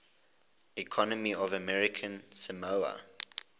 economy of american samoa